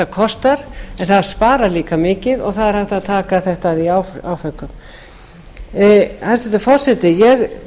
en það sparar líka mikið og það er hægt að taka þetta í áföngum hæstvirtur forseti ég